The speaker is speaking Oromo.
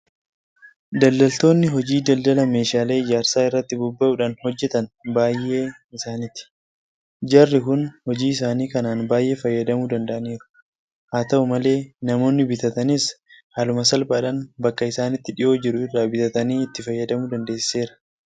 Daldaltoonni hojii daldala meeshaalee ijaarsaa irratti bobba'uudhaan hojjetan baay'ee isaaniiti. Jarri kun hojii isaanii kanaan baay'ee fayyadamuu danda'aniiru. Haata'u malee namoonni bitataniis haaluma salphaadhaan bakka isaanitti dhiyoo jiru irraa bitatanii itti fayyadamuu dandeessiseera.